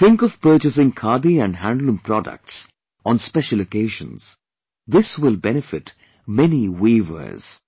think of purchasing Khadi and handloom products on special occasions; this will benefit many weavers